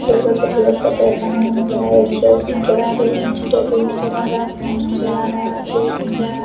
लड़का कुछ अलग कपड़े पहने हुए नजर आ रहे है चियर्स नजर आ रही है निचे टेबल नजर आ रहे है फैन नजर आ रहे है।